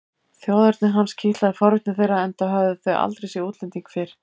Þjóðerni hans kitlaði forvitni þeirra enda höfðu þau aldrei séð útlending fyrr.